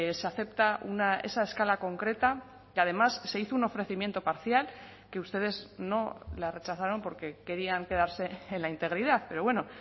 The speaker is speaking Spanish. se acepta una esa escala concreta que además se hizo un ofrecimiento parcial que ustedes no la rechazaron porque querían quedarse en la integridad pero bueno